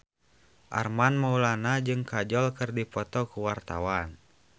Armand Maulana jeung Kajol keur dipoto ku wartawan